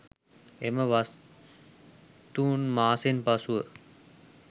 එම වස්තුන් මාසයෙන් පසු,